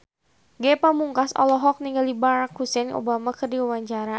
Ge Pamungkas olohok ningali Barack Hussein Obama keur diwawancara